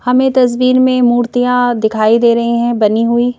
हमें तस्वीर में मूर्तियाँ दिखाई दे रही हैं बनी हुई।